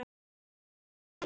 Þín minning lifir að eilífu.